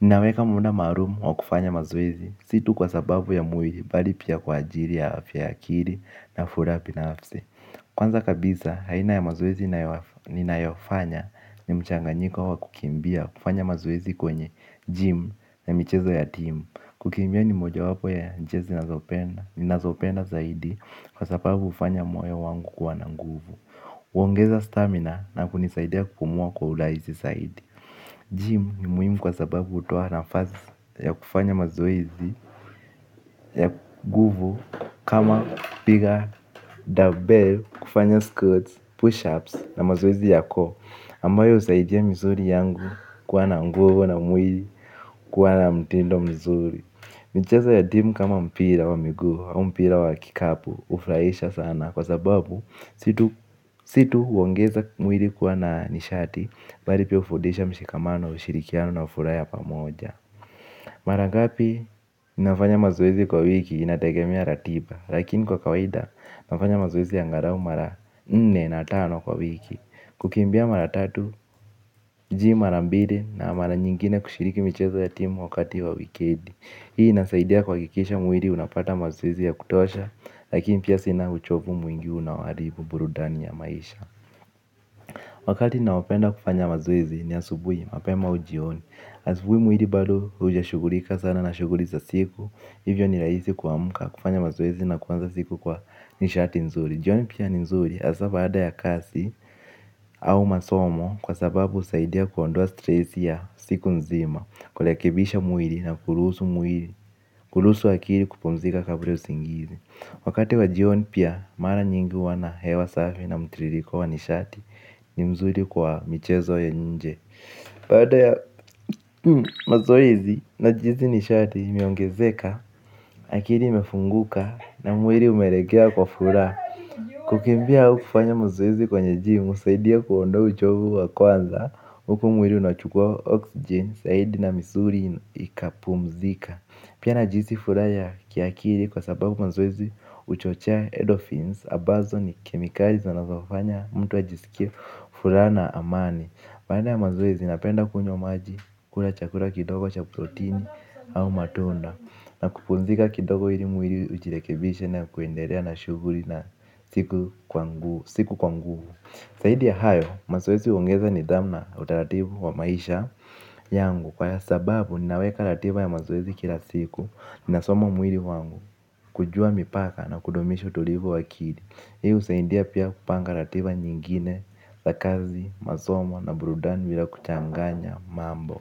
ninaweka munda maarumu wa kufanya mazoezi si tu kwa sababu ya mwiri bali pia kwa ajiri ya afya ya akili na furaha binafsi. Kwanza kabisa, aina ya mazoezi ninayofanya ni mchanganyiko wa kukimbia kufanya mazoezi kwenye gym na michezo ya team. Kukimbia ni mojawapo ya jessi nazopenda zaidi kwa sababu hufanya moyo wangu kuwa na nguvu huongeza stamina na kunisaidia kupumua kwa urahisi zaidi. Gym ni muhimu kwa sababu hutoa nafasi ya kufanya mazoezi ya nguvu. Kama piga dumbbell kufanya squats, pushups na mazoezi ya core ambayo husaidia misuri yangu kuwa na nguvu na mwili kuwa na mtindo mzuri. Michezo ya timu kama mpira wa miguu au mpira wa kikapu hufraisha sana kwa sababu si tu huongeza mwili kuwa na nishati bari pia hufundisha mshikamano ushirikiano na furaha ya pamoja. Mara ngapi nafanya mazoezi kwa wiki inategemea ratiba lakini kwa kawaida nafanya mazoezi angarau mara nne na tano kwa wiki. Kukimbia mara tatu, gym mara mbili na mara nyingine kushiriki michezo ya timu wakati wa wikendi. Hii inasaidia kuhakikisha mwiri unapata mazoezi ya kutosha. Lakini pia sina uchovu mwingi unaoharibu burudani ya maisha. Wakati naopenda kufanya mazoezi ni asubui mapema au jioni. Asubui mwiri bado hujashugulika sana na shughuli za siku. Hivyo ni rahisi kuamka kufanya mazoezi na kuanza siku kwa nishati nzuri. Jioni pia ni nzuri hasa baada ya kazi au masomo kwa sababu husaidia kuondoa stress ya siku nzima. Kulekebisha mwiri na kuluhusu mwiri kuluhusu akiri kupumzika kabra ya usingizi. Wakati wa jioni pia mara nyingi huwa na hewa safi na mtiririko wa nishati. Ni mzuri kwa michezo ya nje. Baada ya mazoezi najihisi nishati imeongezeka. Akiri imefunguka. Na mwiri umeregea kwa furaha. Kukimbia au kufanya mazoezi kwenye gym husaidia kuondoa uchovu wa kwanza huku mwiri unachukua oxygen. Saidi na misuri ikapumzika. Pia najihisi furaha ya kiakiri kwa sababu mazoezi huchochea edorphins ambazo ni kemikali zinazofanya mtu ajisikia furaha na amani baada ya mazoezi napenda kunywa maji kula chakura kidogo cha protein au matunda. Na kupumzika kidogo ili mwili ujirekebishe na kuenderea na shughuri na siku kwa nguvu. Saidi ya hayo, mazoezi huongeza nidhamu na utaratibu wa maisha yangu. Kwa ya sababu, ninaweka ratiba ya mazoezi kila siku. Ninasoma mwili wangu kujua mipaka na kudumisha utulivu wa akili. Hii husaindia pia kupanga ratiba nyingine za kazi, masomo na burudani bila kuchanganya mambo.